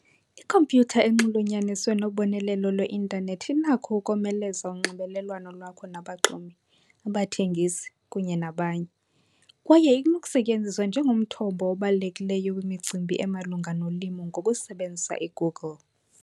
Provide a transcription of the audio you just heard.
Ikhompyutha enxulunyaniswe nobonelelo lweintanethi inakho ukomeleza unxibelelwano lwakho nabaxumi, abathengisi, kunye nabanye kwaye inokusetyenziswa njengomthombo obalulekileyo wemicimbi emalunga nolimo ngokusebenzisa iGoogle.